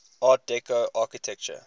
art deco architecture